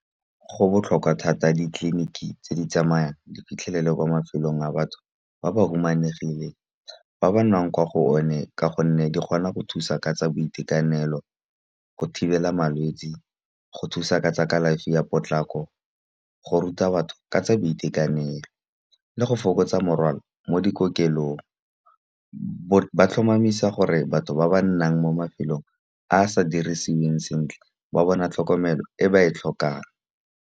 Go botlhokwa thata ditleliniki tse di tsamayang di fitlhelele kwa mafelong a batho ba ba humanegileng. Ba ba nnang kwa go one ka gonne di kgona go thusa ka tsa boitekanelo, go thibela malwetse, go thusa ka tsa kalafi ya potlako, go ruta batho ka tsa boitekanelo le go fokotsa morwalo mo dikokelong. Ba tlhomamisa gore batho ba ba nnang mo mafelong a a sa dirisiweng sentle, ba bona tlhokomelo e ba e tlhokang.